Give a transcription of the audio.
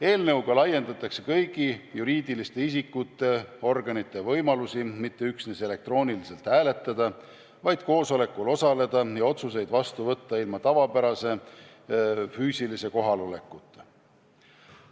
Eelnõuga laiendatakse kõigi juriidiliste isikute organite võimalusi mitte üksnes elektrooniliselt hääletada, vaid ka koosolekul osaleda ning otsuseid vastu võtta ilma tavapärase füüsilise kohalolekuta.